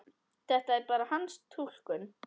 Þetta er bara hans túlkun.